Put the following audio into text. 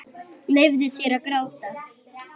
Leyfðu þér að gráta.